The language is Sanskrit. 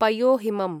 पयोहिमम्